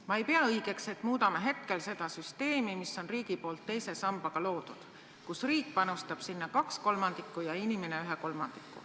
"Ma ei pea õigeks, et muudame hetkel seda süsteemi, mis on riigi poolt teise sambaga loodud, kus riik panustab sinna kaks kolmandikku ja inimene ühe kolmandiku.